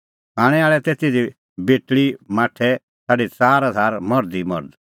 खाणैं आल़ै तै तिधी बेटल़ी और माठै छ़ाडी च़ार हज़ार मर्ध ई मर्ध